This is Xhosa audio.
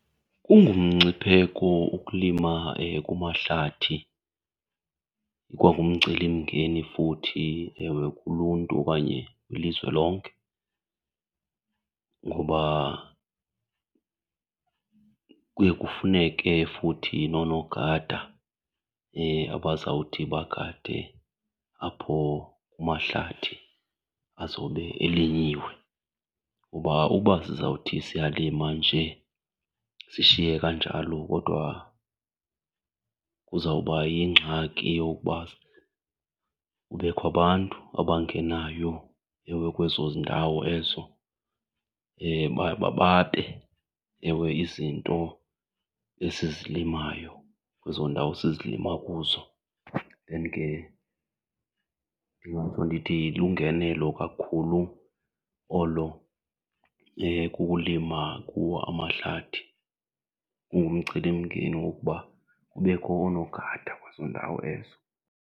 Kungumngcipheko ukulima kumahlathi, ikwangumcelimngeni futhi ewe kuluntu okanye ilizwe lonke. Ngoba kuye kufuneke futhi nonogada abazawuthi bagade apho kumahlathi azobe elinyiwe kuba uba sizawuthi siyalima nje sishiye kanjalo kodwa kuzawuba yingxaki yokuba kubekho abantu abangenayo ewe kwezo ndawo ezo babe ewe izinto esizilimayo kwezo ndawo sizilima kuzo. Then ke ndingatsho ndithi lungenelo kakhulu olo ukulima kuwo amahlathi. Kungumcelimngeni wokuba kubekho oonogada kwezo ndawo ezo.